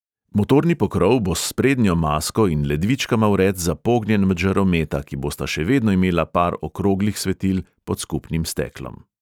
Motorni pokrov bo s prednjo masko in ledvičkama vred zapognjen med žarometa, ki bosta še vedno imela par okroglih svetil pod skupnim steklom.